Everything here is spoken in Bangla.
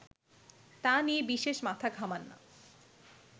তা নিয়ে বিশেষ মাথা ঘামান না